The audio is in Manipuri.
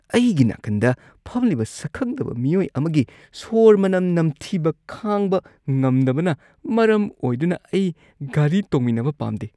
ꯑꯩꯒꯤ ꯅꯥꯀꯟꯗ ꯐꯝꯂꯤꯕ ꯁꯛꯈꯪꯗꯕ ꯃꯤꯑꯣꯏ ꯑꯃꯒꯤ ꯁꯣꯔ ꯃꯅꯝ ꯅꯝꯊꯤꯕ ꯈꯥꯡꯕ ꯉꯝꯗꯕꯅ ꯃꯔꯝ ꯑꯣꯏꯗꯨꯅ ꯑꯩ ꯒꯥꯔꯤ ꯇꯣꯡꯃꯤꯟꯅꯕ ꯄꯥꯝꯗꯦ꯫